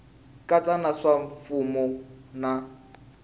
katsa na swa mimfuwo na